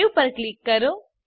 save પર click કરો